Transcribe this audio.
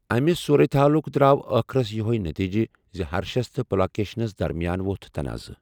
امہِ صورتِ حالُک دراو ٲخرس یہے نتیجہِ زِ ہرشس تہٕ پُلاکیشنس درمیان وۄتھ تنعاضہٕ ۔